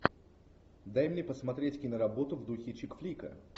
дай мне посмотреть киноработу в духе чик флика